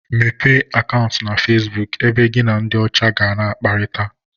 Mepee Akantu na Facebook ebe gị na ndị ọcha ga na akparita